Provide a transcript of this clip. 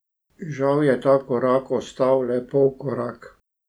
Žal je ta korak ostal le polkorak.